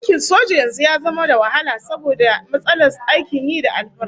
Aikin soja yanzu yana da wahalar samu saboda matsalar aikin yi da alfarma